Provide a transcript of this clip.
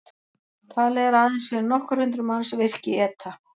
Talið er að aðeins séu nokkur hundruð manns virk í ETA.